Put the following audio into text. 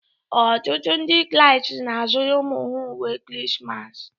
Ọtụtụ Ndị Kraịst na-azụrụ ụmụ ha uwe Krismas